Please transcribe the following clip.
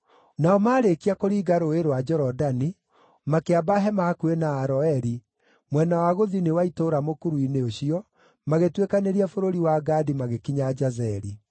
Nao marĩkia kũringa Rũũĩ rwa Jorodani, makĩamba hema hakuhĩ na Aroeri, mwena wa gũthini wa itũũra mũkuru-inĩ ũcio, magĩtuĩkanĩria bũrũri wa Gadi magĩkinya Jazeri.